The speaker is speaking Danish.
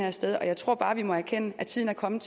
af sted jeg tror bare vi må erkende at tiden er kommet